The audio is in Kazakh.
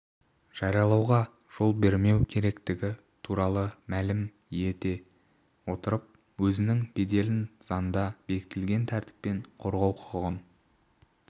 жариялауға жол бермеу керектігі туралы мәлім ете отырып өзінің беделін заңда бекітілген тәртіппен қорғау құқығын